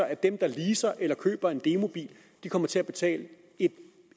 at dem der leaser eller køber en demobil kommer til at betale